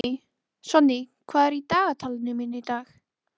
Sonný, hvað er á dagatalinu mínu í dag?